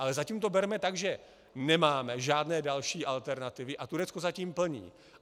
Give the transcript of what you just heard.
Ale zatím to berme tak, že nemáme žádné další alternativy, a Turecko zatím plní.